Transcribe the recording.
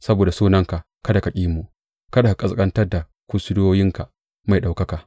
Saboda sunanka kada ka ƙi mu; kada ka ƙasƙantar da kursiyoyinka mai ɗaukaka.